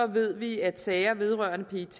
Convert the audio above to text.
ved vi at sager vedrørende pet